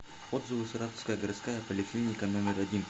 отзывы саратовская городская поликлиника номер один